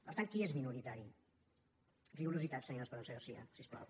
per tant qui és minoritari rigorositat senyora esperanza garcía si us plau